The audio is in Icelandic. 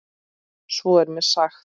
Svo er mér sagt.